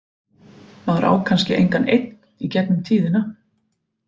Maður á kannski engan einn í gegnum tíðina.